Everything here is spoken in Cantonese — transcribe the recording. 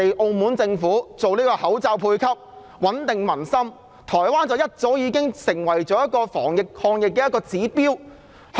澳門政府實施口罩配給，穩定民心，而台灣則早已成為防疫、抗疫的指標。